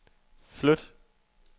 flyt